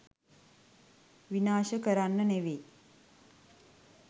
විනාශ කරන්න නෙවෙයි.